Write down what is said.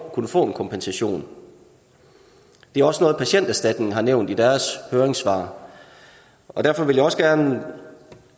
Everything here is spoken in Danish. kunne få en kompensation det er også noget patienterstatningen har nævnt i deres høringssvar og derfor vil jeg også gerne